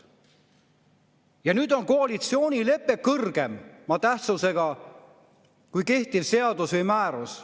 Ja nüüd on koalitsioonilepe kõrgema tähtsusega kui kehtiv seadus või määrus.